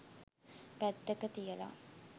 පැත්තක තියලා